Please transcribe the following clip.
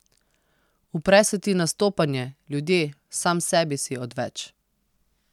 Upre se ti nastopanje, ljudje, sam sebi si odveč.